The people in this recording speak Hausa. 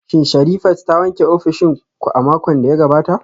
Shin Sherifat ta wanke ofishin ku a makon da ya gabata?